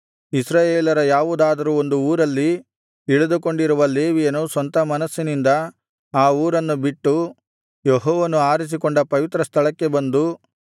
ಇಸ್ರಾಯೇಲರ ಯಾವುದಾದರೂ ಒಂದು ಊರಲ್ಲಿ ಇಳಿದುಕೊಂಡಿರುವ ಲೇವಿಯನು ಸ್ವಂತ ಮನಸ್ಸಿನಿಂದ ಆ ಊರನ್ನು ಬಿಟ್ಟು ಯೆಹೋವನು ಆರಿಸಿಕೊಂಡ ಪವಿತ್ರ ಸ್ಥಳಕ್ಕೆ ಬಂದು